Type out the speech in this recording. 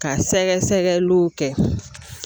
Ka sɛgɛsɛgɛliw kɛ